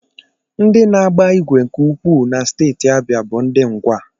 Ndị na-agba ìgwè nke ukwuu na steeti abịa bụ ndị ngwa